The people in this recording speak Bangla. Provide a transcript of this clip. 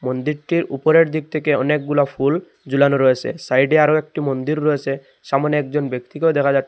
মন্দিরটির উপরের দিক থেকে অনেকগুলা ফুল ঝুলানো রয়েসে সাইডে আরও একটি মন্দির রয়েসে সামনে একজন ব্যক্তি কেউ দেখা যা--